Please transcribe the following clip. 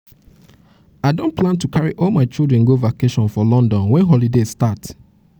i don plan to don plan to carry all my children go vacation for london wen holiday start.